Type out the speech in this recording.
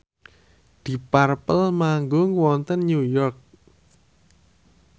deep purple manggung wonten New York